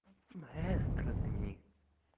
маэстро